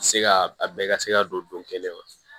Se ka a bɛɛ ka se ka don kelen kɔnɔ